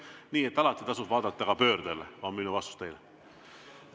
Nii et alati tasub vaadata ka pöördele, on minu vastus teile.